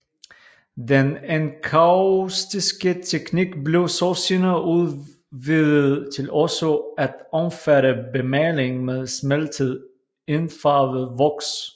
Den enkaustiske teknik blev så senere udvidet til også at omfatte bemaling med smeltet indfarvet voks